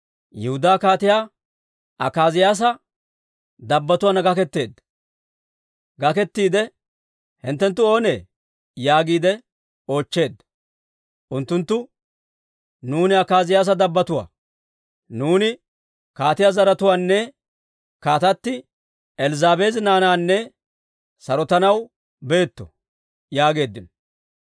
Yihudaa kaatiyaa Akaaziyaasa dabbotuwaanna gaketteedda. I, «Hinttenttu oonee?» yaagiide oochcheedda. Unttunttu, «Nuuni Akaaziyaasa dabbotuwaa; nuuni kaatiyaa zaratuwaanne kaatati Elzzaabeeli naanaanne sarotanaw beetto» yaageeddino.